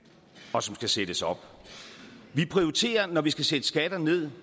og som skal sættes op når vi skal sætte skatter ned